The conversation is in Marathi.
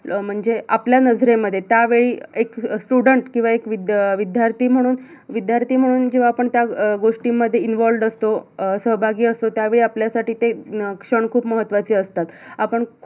अं म्हणजे आपल्या नजरेमध्ये त्यावेळी एक student किवा एक विद्यार्थी म्हणून विद्यार्थी म्हणून अं आपण जेव्हा त्या अं गोष्टींमध्ये involve असतो अं सहभागी असतो त्यावेळी आपल्यासाठी ते अं ते क्षण खूप महत्त्वाचे असतात आपण खूप